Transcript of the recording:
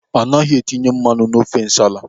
Anaghị etinye mmanụ n'ofe nsala.